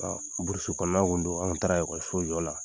kɔnɔna tun don an ka lakɔliso la